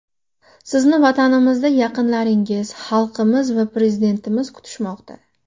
Sizni vatanimizda yaqinlaringiz, xalqimiz va Prezidentimiz kutishmoqda.